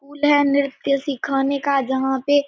school है नृत्य सिखाने का जहां पे --